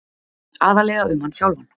Aðallega um hann sjálfan.